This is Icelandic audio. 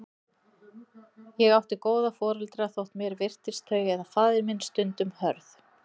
Ég átti góða foreldra, þótt mér virtist þau eða faðir minn stundum hörð.